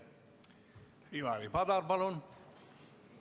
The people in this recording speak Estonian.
Ivari Padar, palun!